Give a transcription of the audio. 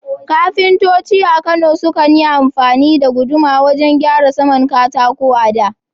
Kafintoci a Kano sukan yi amfani da guduma wajen gyara saman katako a da.